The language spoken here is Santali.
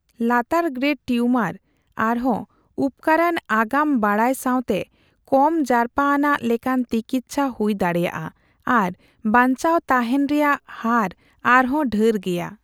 ᱞᱟᱛᱟᱨᱼᱜᱨᱮᱰ ᱴᱤᱭᱩᱢᱟᱨ, ᱟᱨᱦᱚᱸ ᱩᱯᱠᱟᱹᱨᱟᱱ ᱟᱜᱟᱢ ᱵᱟᱰᱟᱭ ᱥᱟᱣᱛᱮ, ᱠᱚᱢ ᱡᱟᱨᱯᱟ ᱟᱱᱟᱜ ᱞᱮᱠᱟᱱ ᱛᱤᱠᱤᱪᱪᱷᱟ ᱦᱩᱭ ᱫᱟᱲᱮᱭᱟᱜᱼᱟ ᱟᱨ ᱵᱟᱧᱪᱟᱣ ᱛᱟᱸᱦᱮᱱ ᱨᱮᱭᱟᱜ ᱦᱟᱨ ᱟᱨᱦᱚᱸ ᱰᱷᱮᱨ ᱜᱮᱭᱟ ᱾